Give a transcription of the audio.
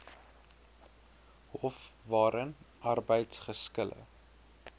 hof waarin arbeidsgeskille